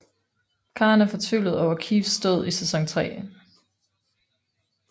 Karen er fortvivlet over Keiths død i sæson 3